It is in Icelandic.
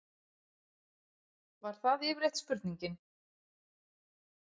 Var það yfirleitt spurningin.